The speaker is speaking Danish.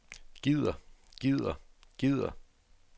gider gider gider